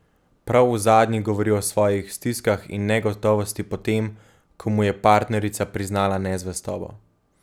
Prav v zadnji govori o svojih stiskah in negotovosti po tem, ko mu je partnerica priznala nezvestobo.